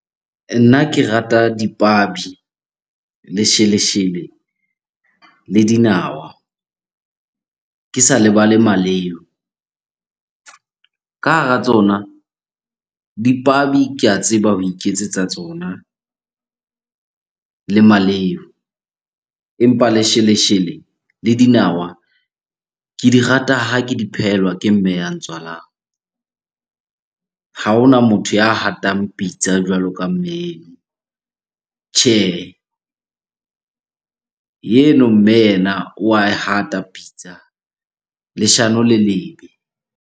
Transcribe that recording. Nna ke rata dipabi, lesheleshele le dinawa, ke sa lebale maleu. Ka hara tsona dipabi ke a tseba ho iketsetsa tsona le maleu. Empa lesheleshele le dinawa, ke di rata ha ke di phehelwa ke mme ya ntswalang. Ha hona motho ya hatang pitsa jwalo ka mme eno. Tjhehe, eno mme yena wa e hata pitsa. Leshano le lebe.